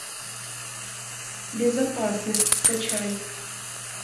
безопасность скачай